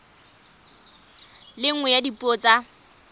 le nngwe ya dipuo tsa